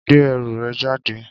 Gbé ẹrù rẹ̀ jáde.